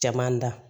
Caman da